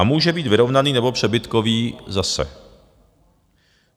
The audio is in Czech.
A může být vyrovnaný nebo přebytkový zase.